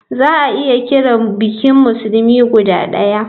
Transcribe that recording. Za a iya kiran bikin musulmi guda daya.